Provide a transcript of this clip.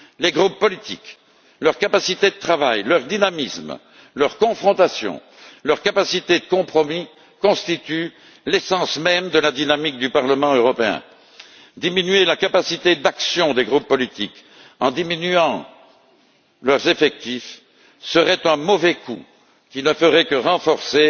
Les groupes politiques, leur capacité de travail, leur dynamisme, leur confrontation, leur capacité de compromis constituent l'essence même de la dynamique du Parlement européen. Diminuer la capacité d'action des groupes politiques, en diminuant leurs effectifs, serait un mauvais calcul qui ne ferait que renforcer